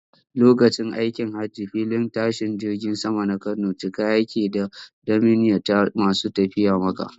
Lokacin aikin hajji filin tashin jirgin saman na Kano cika yake taf da manniyata masu tafiya Makka.